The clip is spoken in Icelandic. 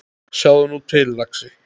Sjáðu nú til, lagsi.